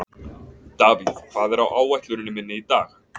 Davíð, hvað er á áætluninni minni í dag?